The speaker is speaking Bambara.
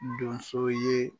Donso ye